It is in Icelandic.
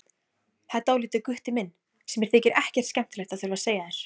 Það er dálítið, Gutti minn, sem mér þykir ekkert skemmtilegt að þurfa að segja þér.